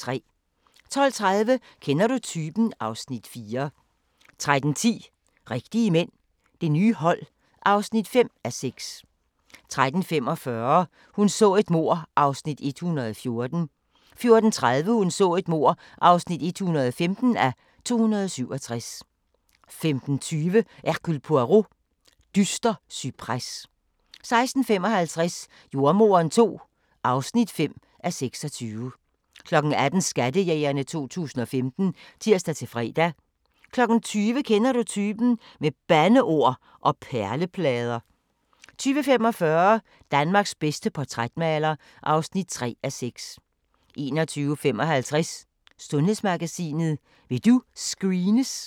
12:30: Kender du typen? (Afs. 4) 13:10: Rigtige mænd – Det nye hold (5:6) 13:45: Hun så et mord (114:267) 14:30: Hun så et mord (115:267) 15:20: Hercule Poirot: Dyster cypres 16:55: Jordemoderen II (5:26) 18:00: Skattejægerne 2015 (tir-fre) 20:00: Kender du typen? - med bandeord og perleplader 20:45: Danmarks bedste portrætmaler (3:6) 21:55: Sundhedsmagasinet: Vil du screenes?